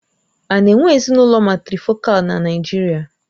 A na-enwe Ezinụlọ màtrịfọ̀kal na Naijiria?